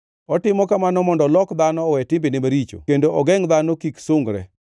otimo kamano mondo olok dhano owe timbene maricho kendo ogengʼ dhano kik sungre,